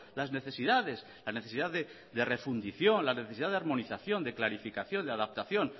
las necesidades la necesidad de refundición la necesidad de armonización de clarificación de adaptación